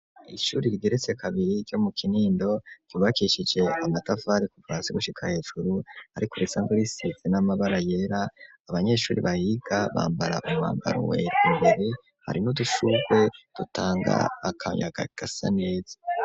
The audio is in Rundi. Ishure rigeretse kabiri ryo mu kinindo ryubakishije amatafari kuva hasi gushika hejuru ariko risa nirisize irangi n'amabara yera abanyeshure bahiga bambara umwambaro wera hari n'udushurwe dutanga akayaga gasa neza.